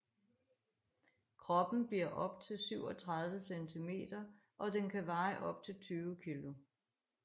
Kroppen bliver op til 37 cm og den kan veje op til 20 kg